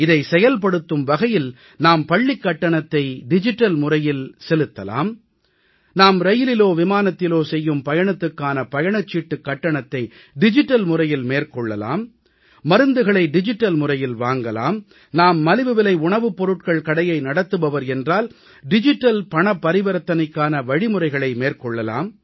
இதை செயல்படுத்தும் வகையில் நாம் பள்ளிக்கட்டணத்தை டிஜிட்டல் முறையில் செலுத்தலாம் நாம் ரயிலிலோ விமானத்திலோ செய்யும் பயணத்துக்கான பயணச்சீட்டுக் கட்டணத்தை டிஜிட்டல் முறையில் மேற்கொள்ளலாம் மருந்துகளை டிஜிட்டல் முறையில் வாங்கலாம் நாம் மலிவுவிலை உணவுப்பொருட்கள் கடையை நடத்துபவர் என்றால் டிஜிட்டல் பணப்பரிவர்த்தனைக்கான வழிமுறைகளை மேற்கொள்ளலாம்